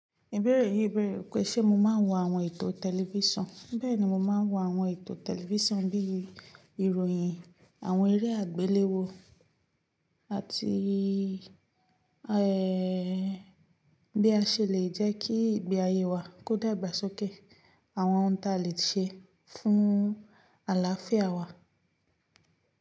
Ibeere yi bẹ̀rẹ̀ pé ṣe mo máa ń wo àwọn ètò tẹlifísàn. Bẹ́ẹ̀ni, mo máa ń wo àwọn ètò tẹlifísàn bí i ìròyìn, àwọn eré àgbéléwò àti, ẹ́, bí a ṣe lè jẹ́ kí ìgbé ayé wa kó dàgbà sókè, àwọn ohun ta lè ṣe fún àlàáfíà wa.